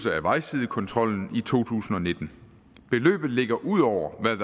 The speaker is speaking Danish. af vejsidekontrolen i to tusind og nitten beløbet ligger ud over hvad